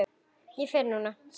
Ég fer núna, segi ég.